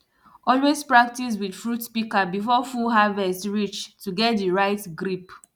always practice with fruit pika before full harvest reach to get di right grip